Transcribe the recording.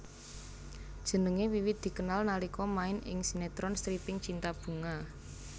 Jenengé wiwit dikenal nalika main ing sinetron stripping cinta bunga